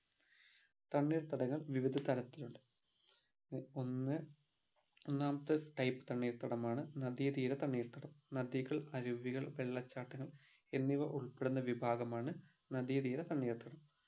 തണ്ണീർത്തടങ്ങൾ വിവിധ തരത്തിൽ ഉണ്ട് ഒന്ന് ഒന്നാമത്തെ type തണ്ണീർത്തടമാണ് നദി തീര തണ്ണീർത്തടം നദികൾ അരുവികൾ വെള്ളച്ചാട്ടങ്ങൾ എന്നിവ ഉൾപ്പെടുന്ന വിഭാഗമാണ് നദി തീര തണ്ണീർത്തടം